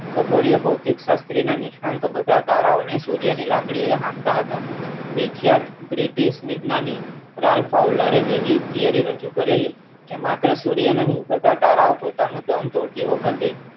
ખ્ ગોડીયા ભોતિક શાસ્ત્રીના નિષ્ણાંત બધા તારાઓને સૂર્યની લાકડીએ હાંકતા હતા નીછાદ British એક વેજ્ઞાનિક રલ પાર્લરે એવી theory રજુ કરેલી કે માત્ર સૂર્યની નહિ બધા તારા તન તોડતી વખતે